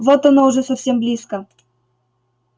вот оно уже совсем близко